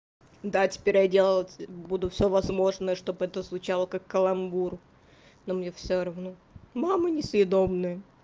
да теперь я делать буду всё возможное чтобы это звучало как каламбур но мне всё равно мама несъедобное